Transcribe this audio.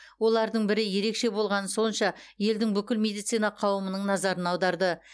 олардың бірі ерекше болғаны сонша елдің бүкіл медицина қауымының назарын аударды